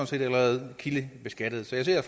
set allerede kildebeskattet så jeg ser